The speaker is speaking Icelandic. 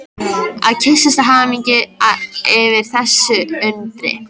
Og kyssast af hamingju yfir þessu undri.